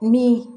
Ni